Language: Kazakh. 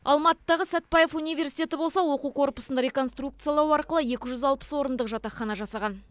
алматыдағы сәтбаев университеті болса оқу корпусын реконструкциялау арқылы екі жүз алпыс орындық жатақхана жасаған